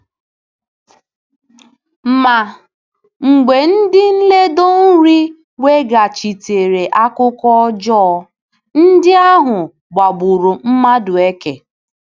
Ma mgbe ndị nledo iri weghachitere akụkọ ọjọọ, ndị ahụ gbagburu Madueke.